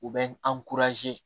U bɛ an